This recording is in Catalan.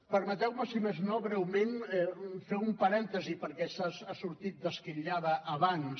permeteu me si més no breument fer un parèntesi perquè ha sortit d’esquitllada abans